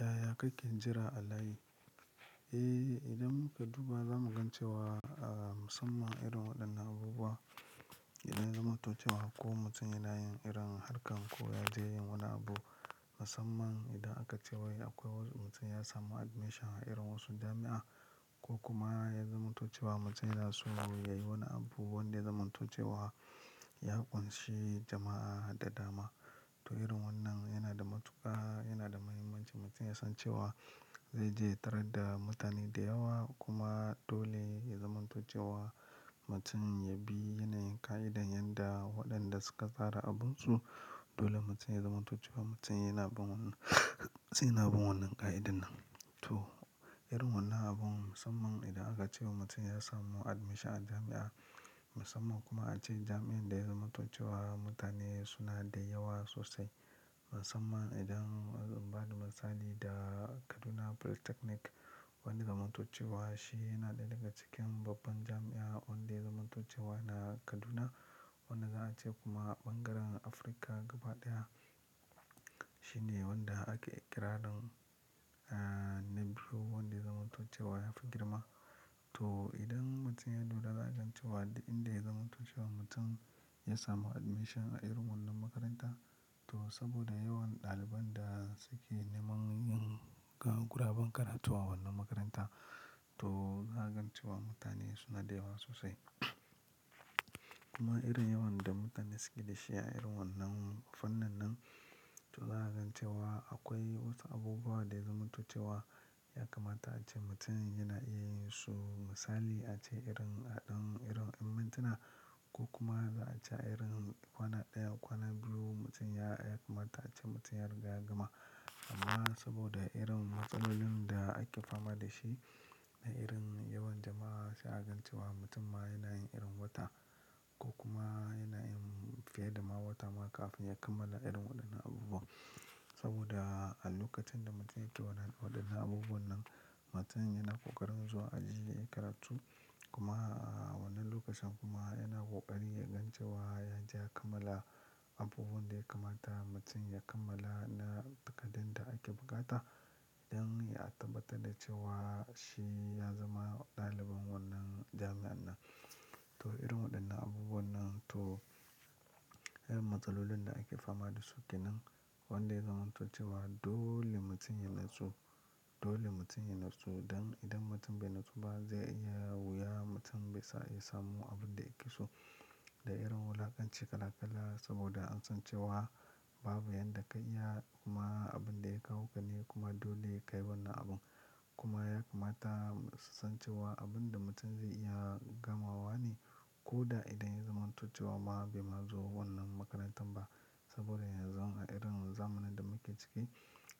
Yaya kake jira a layi? Eh, idan muka duba za mu gan ce wa a masamman irin waɗannan abubuwa idan ya zamantace wa ko mutum yanayin irin harkan ko yaje yin wani abu. Masamman idan aka ce wai akwai wasu mutum ya samu admission a irin wasu jami'a ko kuma ya zamto ce wa mutum yana so yayi wani abu wanda yazamantoce wa ya ƙunshi jama'a da dama. To irin wannan yana da matuƙa yana da muhimmanci mutum ya san cewa zai je yatarar da mutane da yawa kuma dole ya zamantoce wa mutum ya bi yanayin ƙa'idan yadda waɗanda suka tsara abunsu dole mutum ya zamantace wa mutum yana bin wannan, yana bin wannan ƙa'idan nan. To, irin wannan abun musamman idan aka ce mutum ya samu admission a jami'a musamman kuma ace jami'ar da ya zamantace wa mutane suna da yawa sosai. Musamman idan in ba da misali da Kaduna Polytechnic wanda zamantace wa shi yana ɗaya daga cikin babban jami'a wanda zamantace wa yana Kaduna wanda za a ce kuma ɓangaren Afirka gaba ɗaya shi ne wanda ake iƙirarin, eh, na biyu wanda yazamantoce wa yafi girma. To, idan mutum ya duba za a gan ce wa inda zamantace wa mutum ya samu admission a irin wannan makaranta to saboda yawan ɗaliban da suke neman yin ƙa, guraban karatu a wannan makaranta to za a gan ce wa mutane suna da yawa sosai. Kuma irin yawan da mutane suke da shi a irin wannan fannin nan to za a gan ce wa akwai wasu abubuwa da zamantace wa ya kamata ace mutum yana iya yin su misali ace irin haɗin irin aimantana ko kuma za a ce irin kwana ɗaya kwana biyu mutum ya, ya kamata ace mutum ya riga yagama. Amma saboda irin matsalolin da ake fama da shi da irin yawan jama'a za a gan ce wa mutum ma yanayin irin wata ko kuma yanayin fiye da ma wata ma kafin ya kammala irin waɗannan abubuwa. Saboda a lokacin da mutum ya yi waɗannan abubuwan nan mutum yana ƙoƙarin zuwa aji yayi karatu kuma a wannan lokacin kuma yana ƙoƙari yagan ce wa yaje ya kammala abubuwan da ya kamata mutum ya kammala na takaddan da ake buƙata don ya tabbatar da cewa shi ya zama ɗalibin wannan darasin nan. To irin waɗannan abubuwan nan to irin matsalolin da ake fama da suke nan wanda zamantace wa dole mutum ya natsu, dole mutum ya natsu don idan mutum bai natsu ba zai iya wuya mutum bai sa iya samu abin da yake so da irin wulakanci kala kala saboda an san cewa babu yadda ka iya kuma abin da ya kawo ka ne kuma dole ka yi wannan abun. Kuma ya kamata san cewa abin da mutum zai iya gamawa ne ko da idan ya zamantace wa ma bai ma zo wannan makarantar ba saboda yanzu a irin zamanin da muke ciki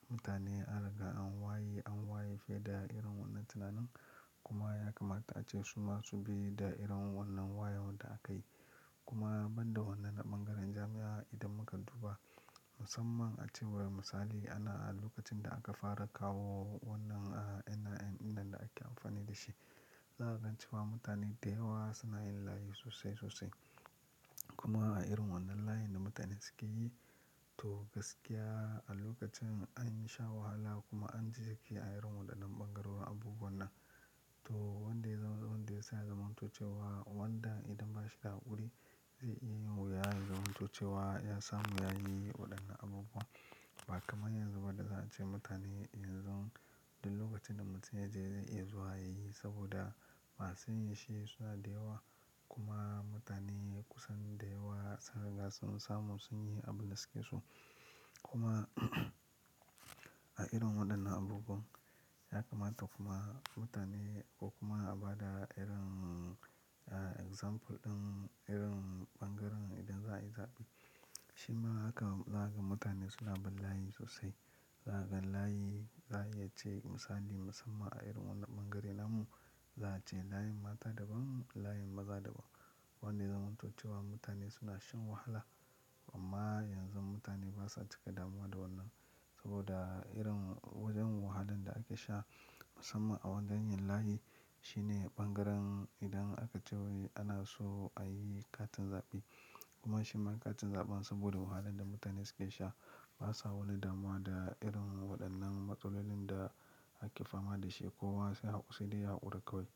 mutane aka an waye an waye fiye da irin wannan tunanin kuma ya kamata ace su masu bi da irin wannan wayon da aka yi. Kuma ban da wannan a ɓangaren jami'a idan muka duba musamman ace wai misali ana a lokacin da aka fara kawo wannan NIN inda ake amfani da shi za a gan ce wa mutane da yawa suna yin layi sosai sosai. Kuma a irin wannan layin da mutane suke yi to gaskiya a lokacin an sha wahala kuma an ji jiki a irin waɗannan ɓangaren abubuwan nan. To wanda zam, wanda ya saya zamantace wa wanda idan ba shi da ƙuri zai iya wuya zamantace wa ya samu yayi waɗannan abubuwa ba kamar yanzu ba da za a ce mutane yanzu duk lokacin da mutum ya je zai iya zuwa yayi saboda masu yin shi suna da yawa kuma mutane kusan da yawa sunriga sun samu sun yi abin da suke so. Kuma a irin waɗannan abubuwan ya kamata kuma mutane ko kuma a ba da irin example ɗin irin ɓangaren idan za a yi zaɓe shi ma haka za a ga mutane suna bin layi sosai. Za a ga layi za a iya ce misali musamman a irin wannan ɓangaren nan mu za a ce layin mata daban layin maza daban wanda yazamantoce wa mutane suna shan wahala amma yanzu mutane basa cika damuwa da wannan saboda irin wajen wahalan da ake sha musamman a wajen yin layi shine ɓangaren idan aka ce wai ana so a yi katin zaɓe kuma shi ma katin zaɓen saboda wahalan da mutane suke sha basa wani damuwa da irin waɗannan matsalolin da ake fama da shi ko wasu dai ya haƙuri kawai.